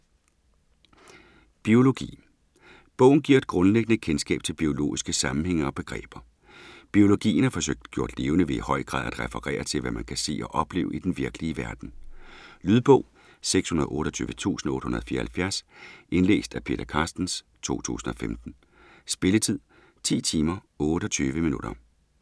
Biologi Bogen giver et grundlæggende kendskab til biologiske sammenhænge og begreber. Biologien er forsøgt gjort levende ved i høj grad at referere til, hvad man kan se og opleve i den virkelige verden. Lydbog 628874 Indlæst af Peter Carstens, 2015. Spilletid: 10 timer, 28 minutter.